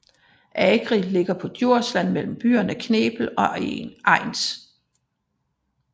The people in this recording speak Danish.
Agri ligger på Djursland mellem byerne Knebel og Egens